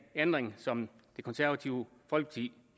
ændring som det konservative folkeparti